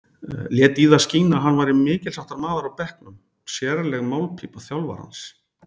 Lét í það skína að hann væri mikilsháttar maður á bekknum, sérleg málpípa þjálfarans.